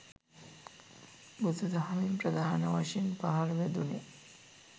බුදු දහමින් ප්‍රධාන වශයෙන් පහර වැදුණේ